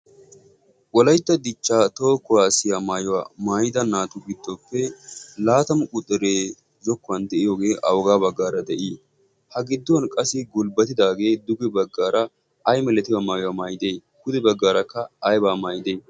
wolaytta dichchaa too kuwaasiyaa maayuwaa maayida naatu biddoppe laatamu qudiree zokkuwan de'iyoogee awogaa baggaara de'ii? ha gidduwan qassi gulbbatidaagee duge baggaara ay milatiyaa maayuwaa maayidee kude baggaarakka aibaa maayide?